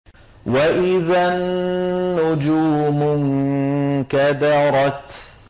وَإِذَا النُّجُومُ انكَدَرَتْ